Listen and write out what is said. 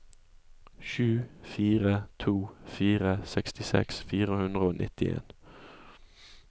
sju fire to fire sekstiseks fire hundre og nittien